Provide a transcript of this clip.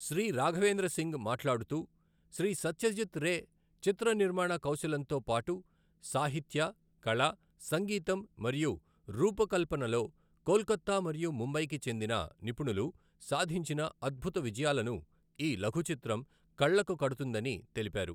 శ్రీ రాఘవేంద్ర సింగ్ మాట్లాడుతూ, శ్రీ సత్యజిత్ రే చిత్ర నిర్మాణ కౌశలంతో పాటు సాహిత్య, కళ, సంగీతం, మరియు రూపకల్పనలో కోల్కత్తా మరియు ముంబైకి చెందిన నిపుణులు సాధించిన అద్భుత విజయాలను ఈ లఘచిత్రం కళ్ళకు కడుతుందని తెలిపారు.